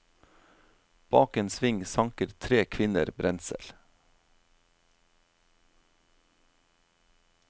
Bak en sving sanker tre kvinner brensel.